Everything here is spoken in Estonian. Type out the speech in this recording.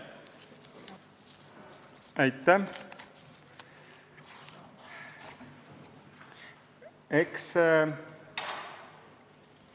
Aitäh!